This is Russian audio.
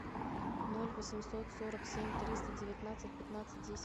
ноль восемьсот сорок семь триста девятнадцать пятнадцать десять